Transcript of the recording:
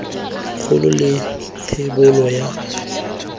kgolo le thebolo ya moakhaefe